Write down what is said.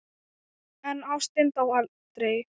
En ástin dó aldrei.